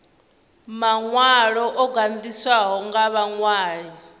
maṅwalo o gandiswaho nga vhaṅwali